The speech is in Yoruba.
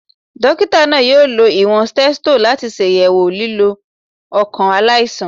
Dọkita naa yoo lo iwọn stetho lati ṣayẹwo lilu ọkan alaisan.